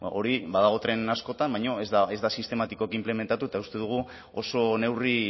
hori badago tren askotan baino ez da sistematikoki inplementatu eta uste dugu oso neurri